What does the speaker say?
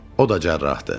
O da cərrahdır.